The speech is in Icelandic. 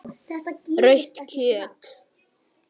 Rautt kjöt.